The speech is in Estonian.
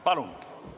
Palun!